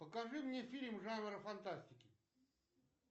покажи мне фильм жанра фантастики